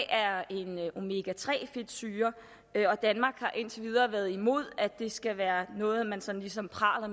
er en omega tre fedtsyre og danmark har indtil videre været imod at det skal være noget man sådan ligesom praler